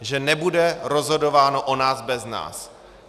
Že nebude rozhodováno o nás bez nás.